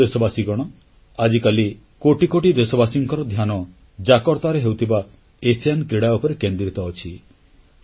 ମୋର ପ୍ରିୟ ଦେଶବାସୀଗଣ ଆଜିକାଲି କୋଟି କୋଟି ଦେଶବାସୀଙ୍କର ଧ୍ୟାନ ଜାକର୍ତ୍ତାରେ ହେଉଥିବା ଏସୀୟ କ୍ରୀଡ଼ା ଉପରେ କେନ୍ଦ୍ରିତ ଅଛି